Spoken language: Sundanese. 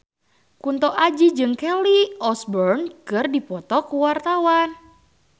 Kunto Aji jeung Kelly Osbourne keur dipoto ku wartawan